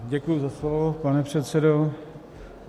Děkuji za slovo, pane předsedo.